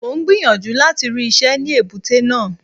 Mò ń gbìyànjú láti rí iṣẹ́ ní èbúté náà.